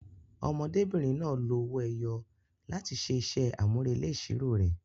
Ọmọdébìnrin náà lo owó ẹyọ láti ṣe iṣẹ́ àmúrelé ìṣirò rẹ̀.